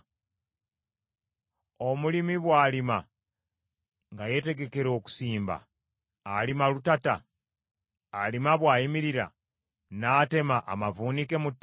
Omulimi bw’alima nga yeetegekera okusimba, alima lutata? Alima bw’ayimirira n’atema amavuunike mu ttaka?